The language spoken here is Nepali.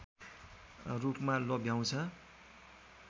रूपमा लोभ्याउँछ